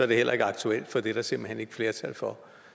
det heller ikke aktuelt for det er der simpelt hen ikke flertal for